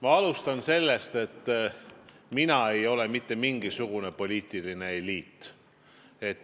Ma alustan sellest, et mina ei ole mitte mingisugune poliitiline eliit.